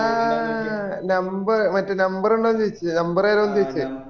ആ number മറ്റേ number ഉണ്ടോ ചോയച്ചേ number തരോ ചോയിച്ചേ